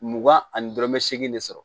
Mugan ani dɔrɔmɛ seegin de sɔrɔ